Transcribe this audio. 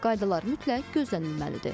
Qaydalar mütləq gözlənilməlidir.